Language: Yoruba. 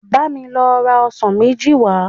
Bá mi lọ ra ọsàn méjì wá